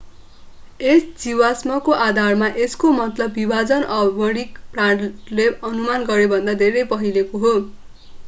यस जीवाश्मको आधारमा यसको मतलब विभाजन आणविक प्रमाणले अनुमान गरेभन्दा धेरै पहिलेको हो